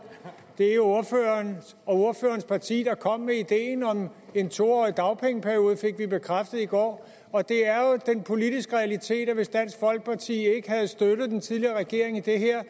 det var ordføreren og ordførerens parti der kom med ideen om en to årig dagpengeperiode det fik vi bekræftet i går og det er jo den politiske realitet at hvis dansk folkeparti ikke havde støttet den tidligere regering i det her